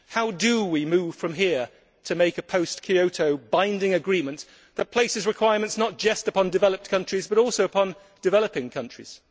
How do we move from here to make a post Kyoto binding agreement that places requirements not just upon developed countries but also upon developing countries?